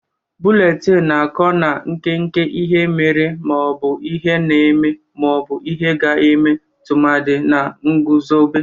Bụletini na-akụ na nkeke ihe mere ma ọ bụ ihe na-eme ma ọ bụ ihe a ga-eme tụmadị na nguzobe.